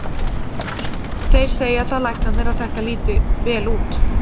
Þeir segja það læknarnir að þetta líti vel út.